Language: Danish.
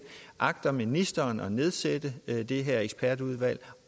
agter ministeren at nedsætte det her ekspertudvalg